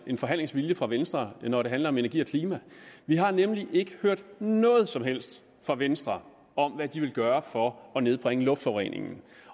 en forhandlingsvilje fra venstre når det handler om energi og klima vi har nemlig ikke hørt noget som helst fra venstre om hvad de vil gøre for at nedbringe luftforureningen